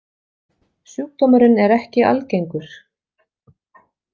Sjúkdómurinn er ekki algengur.